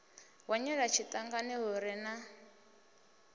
hwenyela tshiṱangani hu re na